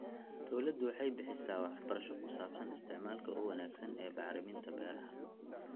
Dawladdu waxay bixisaa waxbarasho ku saabsan isticmaalka ugu wanaagsan ee bacriminta beeraha.